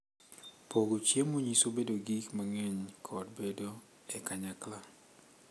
Pogo chiemo nyiso bedo gi gik mang’eny kod bedo e kanyakla.